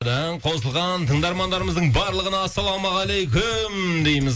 қосылған тыңдармандарымыздың барлығына ассалаумағалейкум дейміз